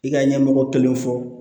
I ka ɲɛmɔgɔ kelenw fɔ